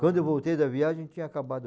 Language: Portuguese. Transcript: Quando eu voltei da viagem, tinha acabado.